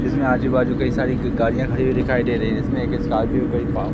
जिसमें आजू बाजू कई सारी गाड़ियां खड़ी हुई दिखाई दे रही हैं जिसमें एक स्कॉर्पियो